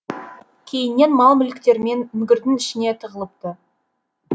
кейіннен мал мүліктерімен үңгірдің ішіне тығылыпты